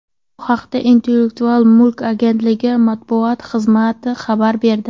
Bu haqda Intellektual mulk agentligi matbuot xizmati xabar berdi .